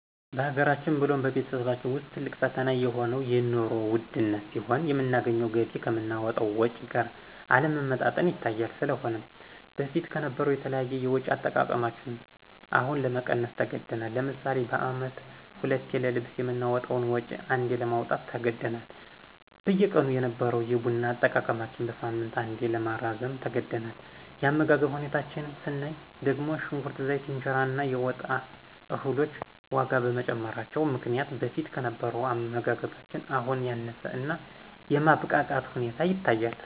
በሀገራችን ብሎም በቤተሰባችን ውስጥ ትልቅ ፈተና የሆነው የንሮ ውድነት ሲሆን የምናገኘው ገቢ ከምናወጣው ወጭ ጋር አለመመጣጠን ይታያል። ስለሆነም በፊት ከነበረው የተለያዩ የወጭ አጠቃቀማችን አሁን ለመቀነስ ተገዳል። ለምሳሌ በአመት ሁለቴ ለልብስ የምናወጣውን ወጭ አንዴ ለማውጣት ተገደናል። በየቀኑ የነበረው የቡና አጠቃቀማችን በሳምንት አንዴ ለማራዘም ተገደናል። የአመጋገብ ሁኔታችን ስናይ ደግሞ ሽንኩርት፣ ዘይት፣ የእንጀራ እና የወጥ እህሎች ዋጋ በመጨመራቸው ምክንያት በፊት ከነበረው አመጋገባችን አሁን ያነሰ እና የማብቃቃት ሁኔታ ይታያል።